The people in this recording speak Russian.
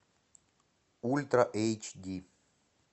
ультра эйч ди